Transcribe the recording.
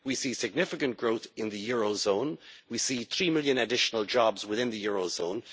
We see significant growth in the euro zone, we see three million additional jobs within the euro zone.